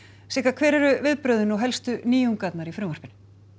hver eru viðbrögðin og helstu nýjungarnar í frumvarpinu